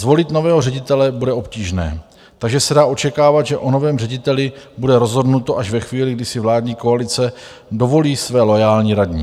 Zvolit nového ředitele bude obtížné, takže se dá očekávat, že o novém řediteli bude rozhodnuto až ve chvíli, kdy si vládní koalice dovolí své loajální radní.